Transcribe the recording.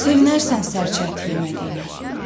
Sevinərsən sərçə əti yemədiyinə.